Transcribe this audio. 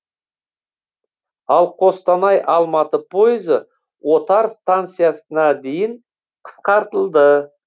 ал қостанай алматы пойызы отар станциясына дейін қысқартылды